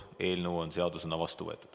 Eelnõu on seadusena vastu võetud.